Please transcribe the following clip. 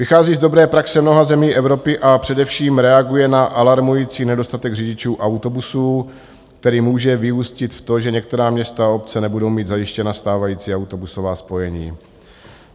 Vychází z dobré praxe mnoha zemí Evropy a především reaguje na alarmující nedostatek řidičů autobusů, který může vyústit v to, že některá města a obce nebudou mít zajištěna stávající autobusová spojení.